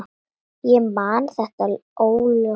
Ég man þetta óljóst.